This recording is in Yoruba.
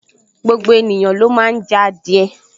Gbogbo ènìyàn ló máa n jẹ adìẹ